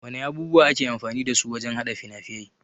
Wana abubuwa ake amfani dasu wajan haɗa fina-fiai?